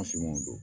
don